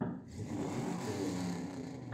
у тебя будет мировые маршруты